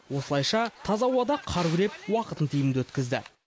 осылайша таза ауада қар күреп уақытын тиімді өткізді